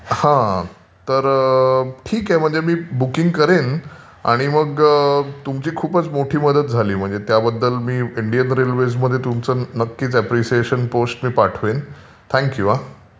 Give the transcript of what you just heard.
हा. तर ठीक आहे म्हणजे मी बूकिंग करेन आणि मग तुमची खूप मोठी मदत झाली म्हणजे त्याबद्दल इंडियन रेलवेज मध्येच नक्कीच अपरिसिएशन पोस्ट पाठवेन. थॅंक यू हा.